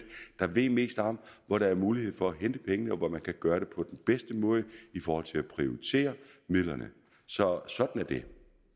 der ved mest om hvor der er mulighed for at hente pengene og hvor man kan gøre det på den bedste måde i forhold til at prioritere midlerne så sådan er det